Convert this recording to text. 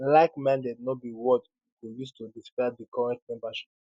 likeminded no be word you go use to describe di current membership